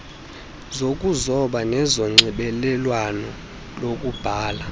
zokuzoba nezonxibelelwano lokubhala